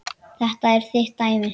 Þetta er þitt dæmi.